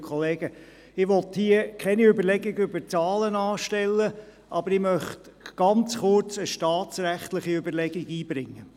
Ich will hier keine Überlegungen zu Zahlen anstellen, aber ich möchte ganz kurz eine staatsrechtliche Überlegung einbringen.